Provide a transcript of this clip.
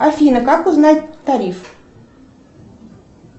афина как узнать тариф